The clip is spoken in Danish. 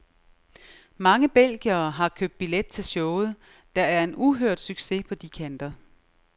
Mange belgiere har købt billet til showet, der er en uhørt succes på de kanter.